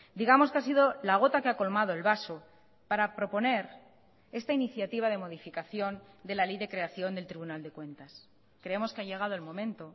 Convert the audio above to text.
digamos que ha sido la gota que ha colmado el vaso para proponer esta iniciativa de modificación de la ley de creación del tribunal de cuentas creemos que ha llegado el momento